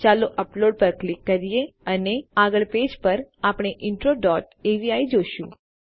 ચાલો અપલોડ પર ક્લિક કરીએ અને આગળના પેજ પર આપણે ઇન્ટ્રો ડોટ અવી જોશું